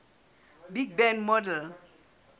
big bang model